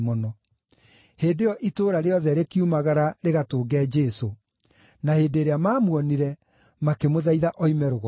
Hĩndĩ ĩyo itũũra rĩothe rĩkiumagara rĩgatũnge Jesũ. Na hĩndĩ ĩrĩa maamuonire, makĩmũthaitha oime rũgongo rwao.